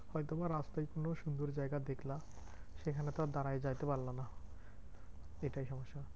হয়তো বা রাত্রে কোনো সুন্দর জায়গা দেখলাম যেখানে তো আর দাঁড়ায় যাইতে পারলা না। এটাই সমস্যা।